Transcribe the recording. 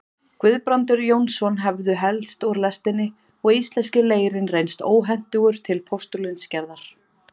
Guðbrandur Jónsson hefðu helst úr lestinni og íslenski leirinn reynst óhentugur til postulínsgerðar.